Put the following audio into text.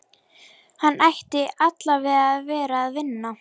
Hann ætti allavega að vera að vinna.